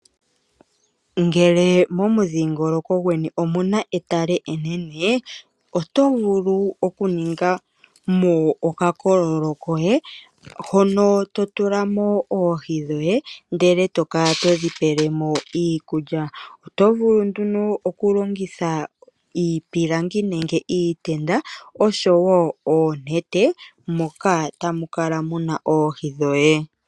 Ngele momudhingoloko gweni omuna etale enene oto vulu oku ninga mo okakololo koye, hono to tula mo oohi dhoye ndele e to kala todhi pele mo iikulya. Oto vulu nduno oku longitha iipilangi nenge iitenda, osho woo oonete moka tamu kala muna oohi dhoye.